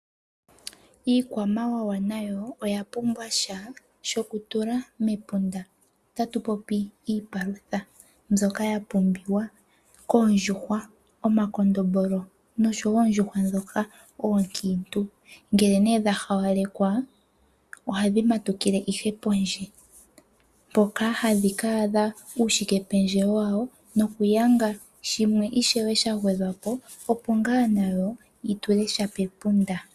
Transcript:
Iikwamawawa nayo oya pumbwa sha shokutula mepunda otatu popi iipalutha mbyoka ya pumbiwa koondjuhwa, omakondombolo noshowo oondjuhwa ndhoka oonkiintu. Ngele nee dha hawalekwa ohadhi matukile ihe pondje mpoka hadhi ka adha uushikependjewo wawo nokuyanga shimwe ishewe sha gwedhwa po opo ngaa nadho dhi tule sha pepunda.